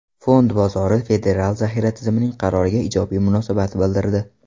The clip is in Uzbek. Fond bozori Federal zaxira tizimining qaroriga ijobiy munosabat bildirdi.